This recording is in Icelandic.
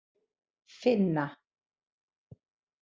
Finna